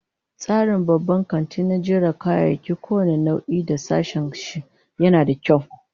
Tsarin babban kanti na jera kayayyaki kowane nau'i da sashen shi, yana da kyau